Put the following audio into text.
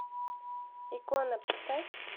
икона поставь